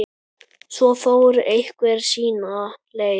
Svo fór hver sína leið.